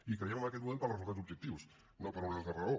i creiem en aquest model pels resultats objectius no per una altra raó